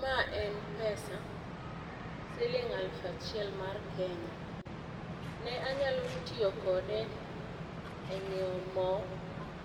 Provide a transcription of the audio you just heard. Ma en pesa siling aluf achiel mar Kenya, ne anyalo tiyo kode e ngiew moo